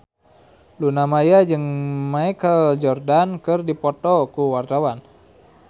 Luna Maya jeung Michael Jordan keur dipoto ku wartawan